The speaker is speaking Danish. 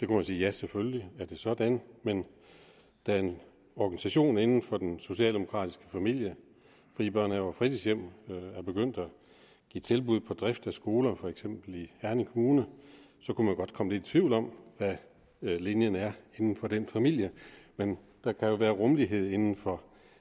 kunne sige ja selvfølgelig er det sådan men da en organisation inden for den socialdemokratiske familie frie børnehaver og fritidshjem er begyndt at give tilbud på drift af skoler for eksempel i herning kommune kunne man godt komme lidt i tvivl om hvad linjen er inden for den familie men der kan jo være rummelighed inden for